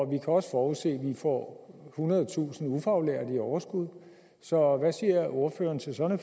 kan også forudse at vi får ethundredetusind ufaglærte i overskud så hvad siger ordføreren til sådan